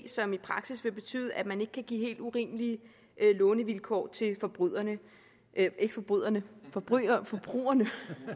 som i praksis vil betyde at man ikke kan give helt urimelige lånevilkår til forbryderne ikke forbryderne forbryderne forbrugerne